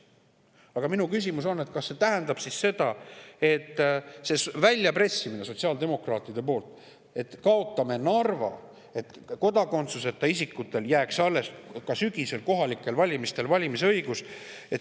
Aga minu küsimus on, kas see tähendab siis seda, see väljapressimine sotsiaaldemokraatide poolt, et kaotame Narva, et kodakondsuseta isikutele jääks ka sügisel kohalikel valimistel alles valimisõigus.